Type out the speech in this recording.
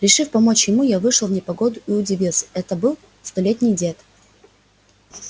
решив помочь ему я вышел в непогоду и удивился это был столетний дед